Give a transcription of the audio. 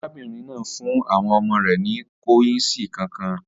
Arábìnrin náà fún àwọn ọmọ rẹ̀ ní kọ́yìǹsì kànkàn